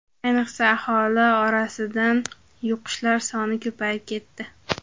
Ayniqsa, aholi orasidan yuqishlar soni ko‘payib ketdi.